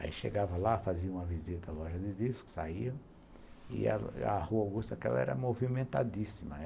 Aí chegava lá, fazia uma visita à loja de discos, saía, e a Rua Augusta aquela era movimentadíssima.